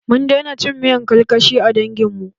Mun daina cin miyar karkashi a dangin mu.